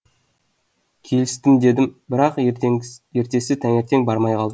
келістім дедім бірақ ертесі таңертең бармай қалдым